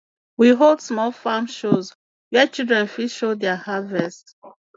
we hold small farm shows where children fit show their harvest